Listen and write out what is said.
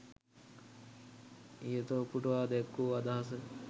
ඉහත උපුටා දැක්වූ අදහස